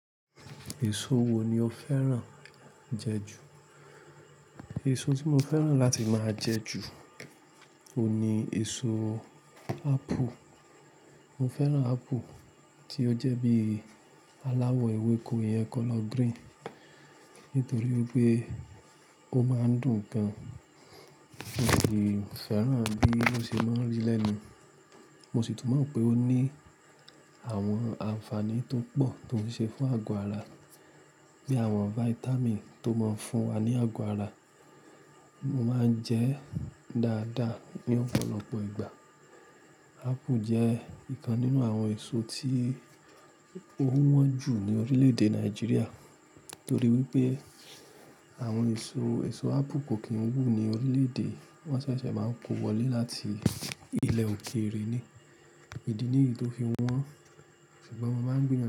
Èso wo ni o fẹ́ràn jẹ ju? Èso tí mo fẹ́ràn láti máa jẹ ju ò ní èso apple. Mo fẹ́ràn apple tí ó jẹ́ bí aláwọ̀ ewéko iyen colour green nítorí pé ó máa ń dùn gan. Mo sì fẹ́ràn bí ó ṣe máa ń rí lénu. Mo sì tún mọ̀ pé ó ní àwọn ànfàní tó pọ̀ tó ń ṣe fún àgọ́ ara bí àwọn vitamin tó máa ń fún wa ní àgọ́ ara. Mo máa ń jẹ dáadáa ní ọ̀pọ̀lọpọ̀ ìgbà. Apple jẹ́ ìkan nínú àwọn èso tí ó wọ́n jù ní orílẹ̀-èdè Nàìjíríà nítorí wípé àwọn èso, èso apple kò kí ń wù ní orílẹ̀-èdè. Wọ́n ṣẹ̀ṣẹ̀ máa ń kó wọlé láti ilẹ̀ òkèèrè ni. Idí nìyií tó fi wọ́n ṣùgbọ́n mo máa ń gbi.